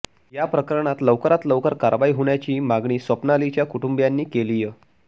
या प्रकरणात लवकरात लवकर कारवाई होण्याची मागणी स्वप्नालीच्या कुटुंबीयांनी केलीय